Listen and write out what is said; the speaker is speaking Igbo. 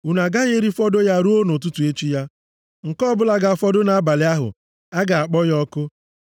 Unu agaghị erifọdụ ya ruo nʼụtụtụ echi ya. Nke ọbụla ga-afọdụ nʼabalị ahụ, a ga-akpọ ya ọkụ.